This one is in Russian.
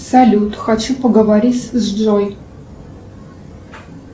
салют хочу поговорить с джой